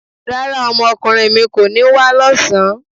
Rárá, ọmọkùnrin mi kò ní wá lọ́sàn-án